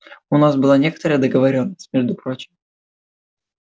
у нас была некоторая договорённость между прочим